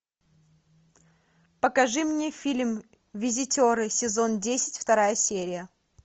покажи мне фильм визитеры сезон десять вторая серия